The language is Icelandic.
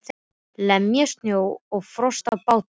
Lemja snjó og frost af bátnum.